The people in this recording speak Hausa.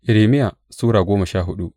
Irmiya Sura goma sha hudu